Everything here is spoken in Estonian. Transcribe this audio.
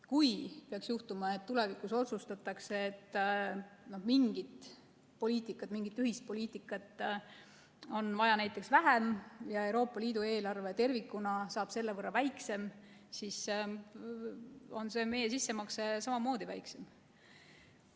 Kui peaks juhtuma, et tulevikus otsustatakse, et mingit ühist poliitikat on vaja näiteks vähem ja Euroopa Liidu eelarve tervikuna saab selle võrra väiksem, siis on meie sissemakse samamoodi väiksem.